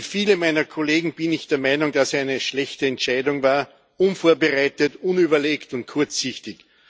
Wie viele meiner Kollegen bin ich der Meinung, dass er eine schlechte Entscheidung war, unvorbereitet, unüberlegt und kurzsichtig.